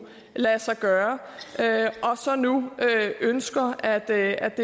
lade sig gøre og så nu ønsker at det